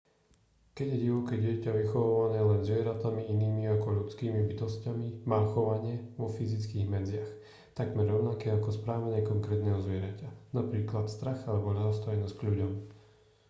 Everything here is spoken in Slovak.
keď je divoké dieťa vychovávané len zvieratami inými ako ľudskými bytosťami má chovanie vo fyzických medziach takmer rovnaké ako správanie konkrétneho zvieraťa napríklad strach alebo ľahostajnosť k ľuďom